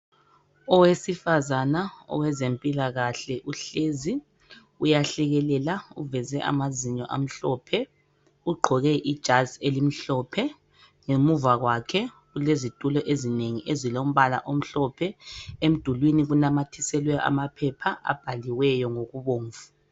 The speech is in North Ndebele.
Owesifazana owezempilakahle uhlezi uyahlekelela uveze amazinyo amhlophe ugqoke ijazi elimhlophe Ngemuva kwakhe kulezitulo ezinengi ezilombala omhlophe .Emdulini kunamathiselwe ama phepha abhaliweyo ngokubomvu.